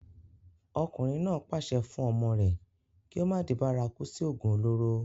ọkùnrin náà pàṣẹ fún ọmọ rẹ̀ kí ó má di bárakú sí ògùn olóró